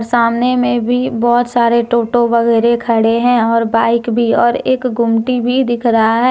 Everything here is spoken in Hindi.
सामने में भी बहोत सारे ऑटो वगैरे खड़े हैं और बाइक भी और एक गुमटी भी दिख रहा है।